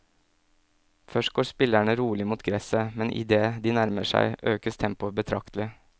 Først går spillerne rolig mot gresset, men idet de nærmer seg økes tempoet betraktelig.